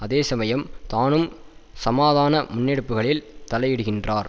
அதேசமயம் தானும் சமாதான முன்னெடுப்புகளில் தலையிடுகின்றார்